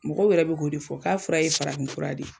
Mɔgɔw yɛrɛ be k'o de fɔ k'a fura ye farafin fura de ye.